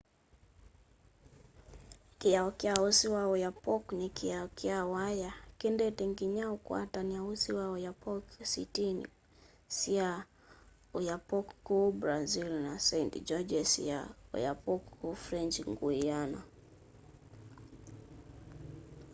kiao kya usi wa oyapock ni kiao kya waya kiendete nginya ukwatany'a usi wa oyapock sitini sya oiapoque kuu brazil na saint-georges ya i'oyapock kuu french guiana